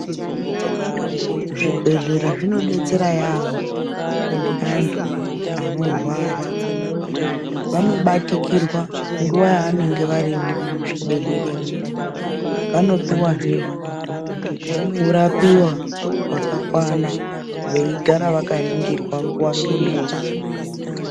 Zvibhedhlera zvinodetsera yaambo antu anorwara. Vanobatikirwa nguva yavanenge varimo muzvibhedhleremo. Vanopihwazve kurapiwa kwakakwana veigara vakaringirwa nguva ngenguwa.